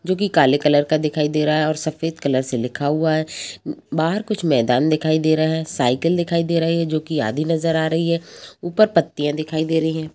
जोकी काले कलर का दिखाई दे रहा हैऔर सफेद कलर से लिखा हुआ है बाहर कुछ मैदान दिखाई दे रहा है साइकल दिखाई दे रही है जोकि आधी नजर आ रही है ऊपर पत्तियां दिखाई दे रही है।